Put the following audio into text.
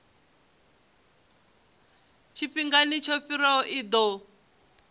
tshifhingani tsho fhiraho i ḓo